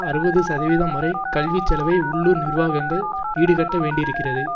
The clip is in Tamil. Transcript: அறுபது சதவீதம் வரை கல்விச்செலவை உள்ளூர் நிர்வாகங்கள் ஈடுகட்ட வேண்டியிருக்கிறது